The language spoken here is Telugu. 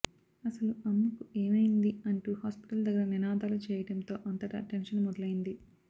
అసలు అమ్మకు ఎమయ్యింది అంటూ హాస్పటల్ దగ్గర నినాదాలు చేయడం తో అంతటా టెన్షన్ మొదలయ్యింది